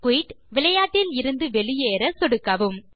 quit - விளையாட்டிலிருந்து வெளியேற சொடுக்கவும்